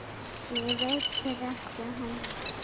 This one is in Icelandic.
Mér veitir ekki af henni.